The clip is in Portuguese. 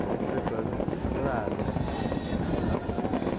Muitas pessoas adoraram, né? Uhum